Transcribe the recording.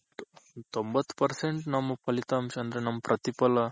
ತೊಂಭತ್ತ್ percent ನಮ್ ಫಲಿತಾಂಶ ಅಂದ್ರೆ ನಮ್ ಪ್ರತಿಫಲ